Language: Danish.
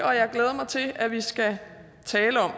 og jeg glæder mig til at vi skal tale om